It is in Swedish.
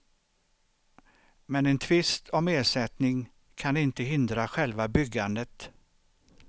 Men en tvist om ersättning kan inte hindra själva byggandet.